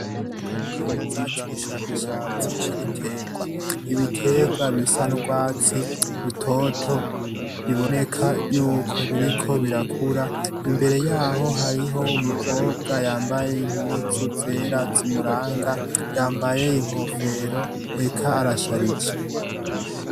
Akaminuza c'ubushakashatsi c'ibiterwa ibiterwa bisa ndwatsi utoto biboneka yuko biriko birakura imbere yaho hariho umukobwa yambaye impuzu zera zimuranga yambaye inkofero eka arasharije.